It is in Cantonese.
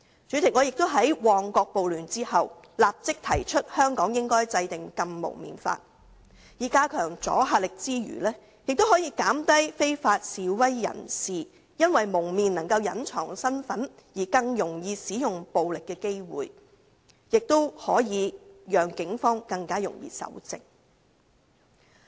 主席，我亦曾在旺角發生暴亂後立即提出香港應制定"禁蒙面法"，在加強阻嚇力之餘，亦可防止非法示威者因蒙面能隱藏身份而更容易使用暴力，亦可讓警方更容易搜證。